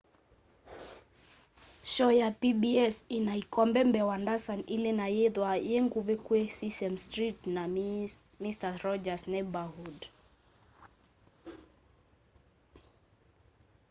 shoo ya pbs ina ikombe mbee wa ndasani ili na yithwaa yinguvi kwi sesame street na mister rogers' neighborhood